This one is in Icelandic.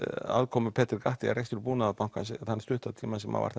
aðkoma Peter að rekstri Búnaðarbankans þann hluta tímans sem hann var